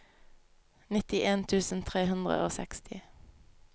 nittien tusen tre hundre og seksti